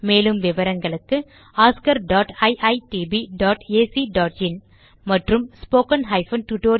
மேலும் விவரங்களுக்கு oscariitbacஇன் மற்றும் spoken tutorialorgnmeict இன்ட்ரோ